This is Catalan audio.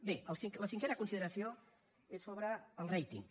bé la cinquena consideració és sobre el rating